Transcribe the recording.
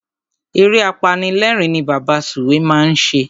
Eré apanilérìn ni Bàbá Sùwé máa ń ṣe.